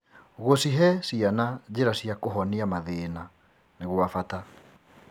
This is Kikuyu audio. Gũcihe ciana njĩra cia kũhonia mathĩna nĩ gwa bata.